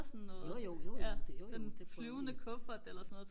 jojo jojo det jojo det prøvede vi